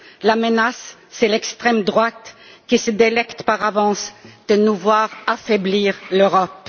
La menace, c'est l'extrême droite, qui se délecte par avance de nous voir affaiblir l'Europe.